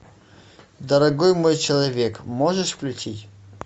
дорогой мой человек можешь включить